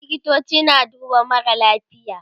likitoci na duba marasa lafiya